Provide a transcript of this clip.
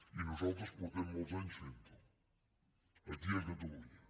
i nosaltres fa molts anys que ho fem aquí a catalunya